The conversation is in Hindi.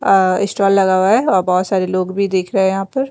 अअ स्टॉल लगा हुआ है और बहुत सारे लोग भी देख रहे हैं यहाँ पर।